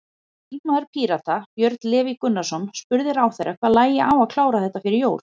Þingmaður Pírata, Björn Leví Gunnarsson, spurði ráðherra hvað lægi á að klára þetta fyrir jól?